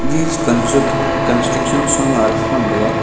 e c-construction sanga akha thrantega.